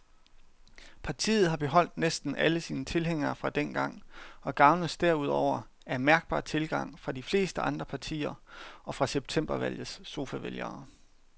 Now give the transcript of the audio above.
Partiet har beholdt næsten alle sine tilhængere fra dengang og gavnes derudover af mærkbar tilgang fra de fleste andre partier og fra septembervalgets sofavælgere.